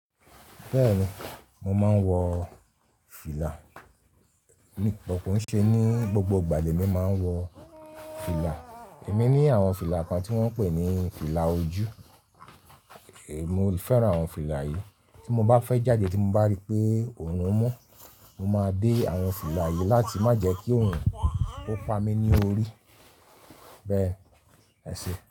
Bẹ́ẹ̀ni, mo máa ń wọ fìlà. Bọ ko nṣe ni gbogbo ìgbà lèmi máa ń wọ fìlà. Èmi ní àwọn fìlà kan tí wọ́n ń pè ní fìlà ojú, mo fẹ́ran àwọn fìlà yìí. Tí mo bá fẹ́ jáde tí mo bá rí i pé òòrùn mù, mo máa dé àwọn fìlà yìí láti má jẹ kí òòrùn kó pa mí ní orí. Bẹ́ẹ̀ ẹ ṣe.